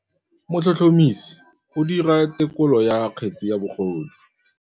Motlhotlhomisi o dira têkolô ya kgetse ya bogodu.